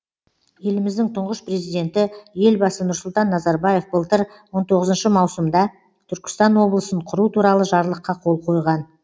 еліміздің тұңғыш президенті елбасы нұрсұлтан назарбаев былтыр он тоғызыншы маусымда түркістан облысын құру туралы жарлыққа қол қойған